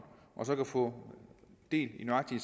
og få del i nøjagtig